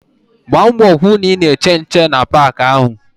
Gba mbọ hụ na ị na-eche nche na paakị ahụ!